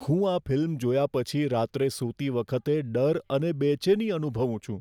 હું આ ફિલ્મ જોયા પછી રાત્રે સૂતી વખતે ડર અને બેચેની અનુભવું છું.